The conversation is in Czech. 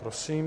Prosím.